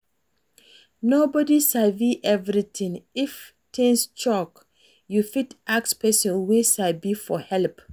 Nobody sabi everything, if things choke, you fit ask person wey sabi for help